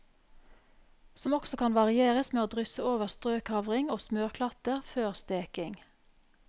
Som også kan varieres ved å drysse over strøkavring og smørklatter før steking.